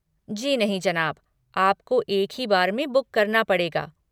जी नहीं जनाब, आपको एक ही बार में बुक करना पड़ेगा।